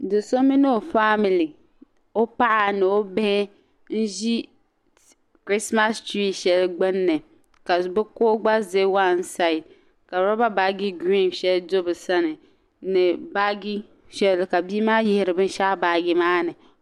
Do' so mini o family o paɣa ni o bihi ʒi christ mass church shɛli gbunni ka bi kuɣu gba za one side ka robber baaji green shɛli gba do bi sani ni baaji shɛli ka bia maa yiɣiri bin' shɛli baaji maa ni.